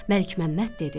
Məlikməmməd dedi: